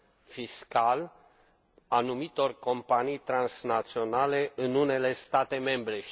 fiscal anumitor companii transnaționale în unele state membre.